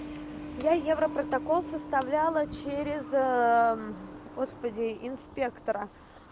я европротокол составляла через господи инспектора